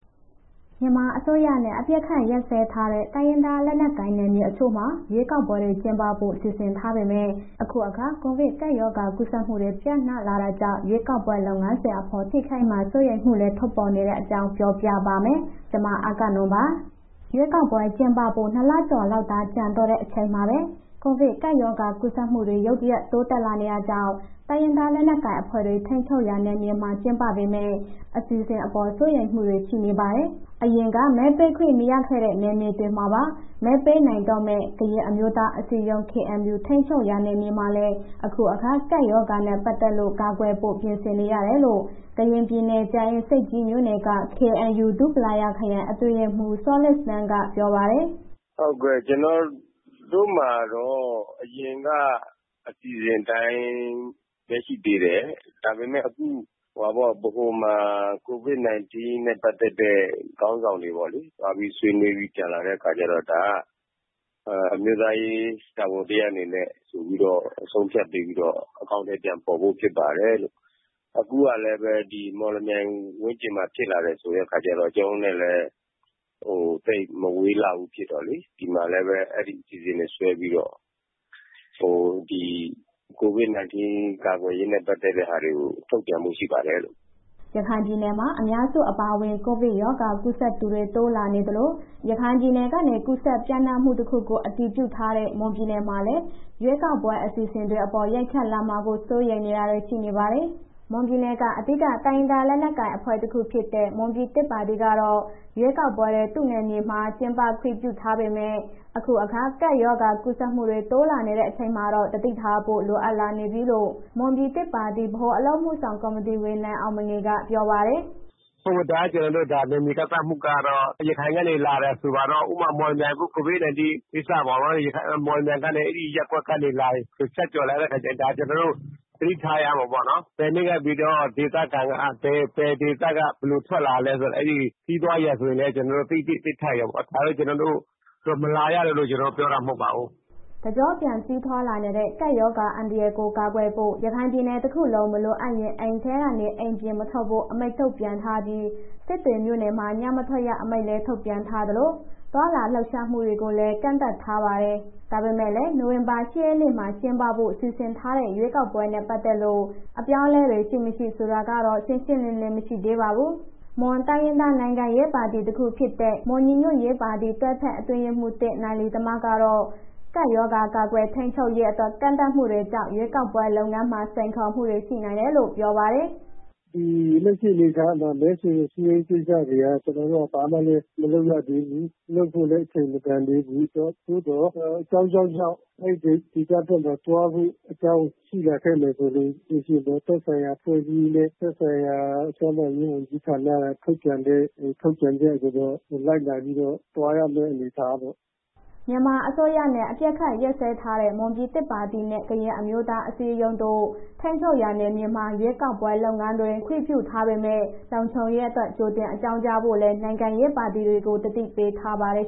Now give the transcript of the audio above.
မြန်မာအစိုးရနဲ့ အပစ်အခတ် ရပ်စဲထားတဲ့ တိုင်းရင်းသား လက်နက်ကိုင် နယ်မြေတချို့မှာ ရွေးကောက်ပွဲတွေ ကျင်းပဖို့ စီစဉ်ထားပေမဲ့ အခုအခါ ကိုဗစ်ကပ်ရောဂါ ကူးစက်မှုတွေ ပျံ့နှံ့လာတာကြောင့် ရွေးကောက်ပွဲ လုပ်ငန်းစဉ်အပေါ် ထိခိုက်မှာ စိုးရိမ်မှုတွေလည်း ထွက်ပေါ်နေတဲ့အကြောင်း ပြောပြပါမယ်။ ဗွီအိုအေမြန်မာပိုင်းသတင်းထောက် မအဂ္ဂနွန်က တင်ပြပေးပါမယ်။ ရွေးကောက်ပွဲတွေ ကျင်းပဖို့ ၂ လကျော်လောက်သာ ကျန်တော့တဲ့ အချိန်မှာပဲ ကိုဗစ်ကပ်ရောဂါ ကူးစက်မှုတွေ ရုတ်တရက် တိုးလာနေတာကြောင့် တိုင်းရင်းသားလက်နက်ကိုင်အဖွဲ့တွေ ထိန်းချုပ်ရာ နယ်မြေမှာ ကျင်းပမယ့် အစီအစဉ်အပေါ် စိုးရိမ်မှုတွေ ရှိနေပါတယ်။ အရင်က မဲပေးခွင့်မရခဲ့တဲ့ နယ်မြေတွေမှာပါ မဲပေးနိုင်တော့မယ့် ကရင်အမျိုးသားအစည်းအရုံး ထိန်းချုပ်ရာ နယ်မြေမှာလည်း အခုအခါ ကပ်ရောဂါနဲ့ ပတ်သက်လို့ ကာကွယ်ဖို့ ပြင်ဆင်နေရတယ်လို့ ကရင်ပြည်နယ် ကြာအင်းဆိပ်ကြီးမြို့နယ်က KNU ဒူပလာရာခရိုင် အတွင်းရေးမှူး စောလစ်စတန်ကပြောပါတယ်။ “ဟုတ်ကဲ့။ ကျနော်တို့မှာတော့ အရင်က အစီအစဉ်အတိုင်းပဲ ရှိသေးတယ်၊ ဒါပေမဲ့ အခု ဗဟိုမှာ COVID-19 န့ဲ ပတ်သက်တဲ့ ခေါင်းဆောင်တွေပေါ့လေ... သွားပြီးဆွေးနွေးပြီး ပြန်လာတဲ့အခါကျတော့ ဒါကအမျိုးသားရေးတာဝန်တစ်ရပ်အနေနဲ့ ဆိုပြီးတော့ ဆုံးဖြတ်ပေးပြီးတော့ အကောင်အထည်ပြန်ဖော်ဖို့ဖြစ်ပါတယ်၊ အခုကလည်းပဲ ဒီမော်လမြိုင်ဝန်းကျင်မှာ ဖြစ်လာတယ်ဆိုတဲ့အခါကျတော့ ကျနော်တို့လည်း သိပ်မဝေးလောက်ဘူးဖြစ်တော့လေး ဒီမှာလည်းပဲ အဲ့ဒီအစီအစဉ်တွေဆွဲပြီးတော့ COVID-19 ကာကွယ်ရေးနဲ့ ပတ်သက်တဲ့ဟာတွေကို ထုတ်ပြန်ဖို့ရှိပါတယ်။” ရခိုင်ပြည်နယ်မှာ အများစုအပါအဝင် ကိုဗစ်ရောဂါ ကူးစက်သူတွေ တိုးလာနေသလို ရခိုင်ပြည်နယ်ကနေ ကူးစက်ပျံ့နှံ့မှု တခုကို အတည်ပြုထားတဲ့ မွန်ပြည်နယ်မှာလည်း ရွေးကောက်ပွဲ အစီအစဉ်တွေအပေါ် ရိုက်ခတ်လာမှာ စိုးရိမ်တာတွေ ရှိနေပါတယ်။ မွန်ပြည်နယ်က အဓိကတိုင်းရင်းသား လက်နက်ကိုင် အဖွဲ့တခုဖြစ်တဲ့ မွန်ပြည်သစ်ပါတီကတော့ ရွေးကောက်ပွဲတွေ သူ့နယ်မြေမှာ ကျင်းပခွင့် ပြုထားပေမဲ့ အခုအခါ ကပ်ရောဂါကူးစက်မှုတွေ တိုးလာတဲ့အချိန်မှာတော့ သတိထားဖို့ လိုအပ်လာနေပြီလို့ မွန်ပြည်သစ်ပါတီ ဗဟိုအလုပ်အမှုဆောင် ကော်မတီဝင် နိုင်အောင်မငေးက ပြောပါတယ်။ “ဒါကျနော်တို့ နယ်မြေကန့်သတ်မှုကတော့ ဒီ COVID-19 ကူးစက်ရောဂါ ရခိုင်ကနေလာတယ်ဆိုပါတော့ ဥပမာ မော်လမြိုင် COVID-19 အဲ့ဒီကိစ္စမှာပေ့ါနော်... မော်လမြိုင်ကနေ အဲ့ရပ်ကွက်နေလာရင် ဆက်သွယ်လာတဲ့အခါကျရင် ဒါကနော်တို့ သတိထားရမှာပေါ့နော် ဘယ်နေ့ကနေပြီးတော့ ဒေသခံကဘယ်ဒေသက ဘယ်ထွက်လာသလဲ အဲ့ဒီခရီးသွားရာဇဝင်ကိုလည်း ကျနော်တို့ သိသင့်သိထိုက်ရမှာပေါ့ ဒါက မလာရဘူး ကျနော်တို့ ပြောတာမဟုတ်ပါဘူး။” တကျော့ပြန်ကြီးထွားလာတဲ့ ကပ်ရောဂါအန္တရာယ်ကို ကာကွယ်ဖို့ ရခိုင်ပြည်နယ်တခုလုံး မလိုအပ်ရင်အိမ်ထဲက အိမ်ပြင် မထွက်ဖို့ အမိန့်ထုတ်ပြန်ထားပြီး စစ်တွေမြို့နယ်မှာ ညမထွက်ရအမိန့်လည်း ထုတ်ပြန်ထားသလို၊ သွားလာလှုပ်ရှားမှုတွေကိုလည်း ကန့်သတ်ထားပါတယ်။ ဒါပေမဲ့လည်း နိုဝင်ဘာလ ၈ ရက်နေ့မှာ ကျင်းပဖို့ စီစဉ်ထားတဲ့ ရွေးကောက်ပွဲနဲ့ ပတ်သက်လို့ အပြောင်းအလဲတွေ ရှိမရှိ ဆိုတာတော့ ရှင်းရှင်းလင်းလင်း မရှိသေးပါဘူး။ မွန်တိုင်းရင်းသား နိုင်ငံရေးပါတီတခုဖြစ်တဲ့ မွန်ညီညွှတ်ရေးပါတီက တွဲဖက်အတွင်းရေးမှူး နိုင်လယိတမကတော့ ကပ်ရောဂါကာကွယ်ထိန်းချုပ်ရေးအတွက် ကန့်သတ်မှုတွေကြောင့် ရွေးကောက်ပွဲ လုပ်ငန်းစဉ်မှာ စိန်ခေါ်မှုတွေ ရှိနိုင်တယ်လို့ ပြောပါတယ်။ “လက်ရှိအနေအထားမှာ မဲဆွယ်ရေးကိစ္စတွေက ကျနော်တို့က ဘာမှမလုပ်ရသေးဘူး။ လုပ်ဖို့လည်း အချိန်မတန်သေးဘူး။ သို့သော်အကြောင်းကြောင်းကြောင့် အဲ့ဒီဒေသတွင်းမှာ သွားဖို့ အကြောင်းရှိလာခဲ့မယ်ဆိုလို့ရှိရင် သက်ဆိုင်ရာ အဖွဲ့အစည်းနဲ့ သက်ဆိုင်ရာကျန်းမာရေးဝန်ကြီးဌာနက ထုန်ပြန်တဲ့ ထုတ်ပြန်ချက်ကိုတော့ လိုက်နားပြီးတော့ သွားရမယ့်အနေအထားပေါ့။” မြန်မာအစိုးရနဲ့ အပစ်အခတ် ရပ်စဲထားတဲ့ မွန်ပြည်သစ်ပါတီနဲ့ ကရင်အမျိုးသားအစည်းအရုံးတို့ ထိန်းချုပ်ရာနယ်မြေမှာ ရွေးကောက်ပွဲ လုပ်ငန်းတွေကို ခွင့်ပြုထားပေမဲ့ လုံခြုံရေးအတွက် ကြိုတင်အကြောင်းကြားဖို့လည်း နိုင်ငံရေးပါတီတွေကို သတိပေးထားပါတယ်